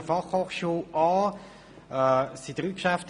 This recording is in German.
Es handelt sich insgesamt um drei Geschäfte;